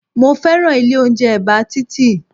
Mo fẹ́ràn ilé oúnjẹ ẹ̀bá títì